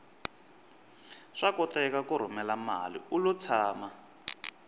swa koteka ku rhumela mali ulo tshama